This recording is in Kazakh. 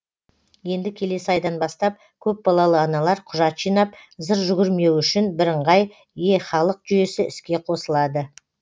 енді келесі айдан бастап көпбалалы аналар құжат жинап зыр жүгірмеуі үшін бірыңғай е халық жүйесі іске қосылады